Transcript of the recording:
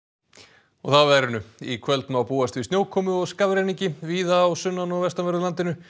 og þá að veðri í kvöld má búast við snjókomu og skafrenningi víða á sunnan og vestanverðu landinu